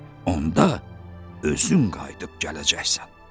Onda özün qayıdıb gələcəksən.